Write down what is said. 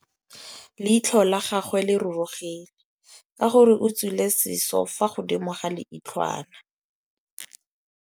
Leitlhô la gagwe le rurugile ka gore o tswile sisô fa godimo ga leitlhwana.